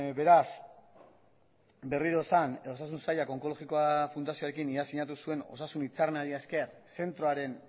beraz berriro esan osasun sailak onkologikoa fundazioarekin iaz sinatu zuen osasun hitzarmenari esker zentroaren